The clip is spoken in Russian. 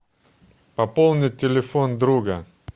пополнить телефон друга